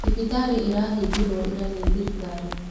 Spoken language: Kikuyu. Thibitarĩ ĩrahingirwo ira nĩthirikari.